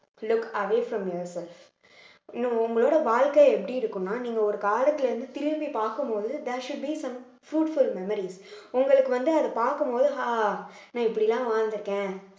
look away from yourself உங்களோட வாழ்க்கை எப்படி இருக்கும்னா நீங்க ஒரு காலத்துல இருந்து திரும்பி பார்க்கும் போது there should be some fruitful memories உங்களுக்கு வந்து அது பார்க்கும் போது ஆஹ் இப்படில்லாம் வாழ்ந்திருக்கேன்